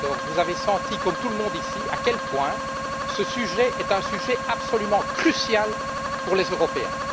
2014. Vous avez senti, comme tout le monde ici, à quel point ce sujet est un sujet absolument crucial pour les Européens.